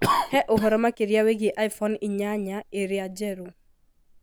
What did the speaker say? He ũhoro makĩria wĩgiĩ iPhone inyanya ĩrĩa njerũ.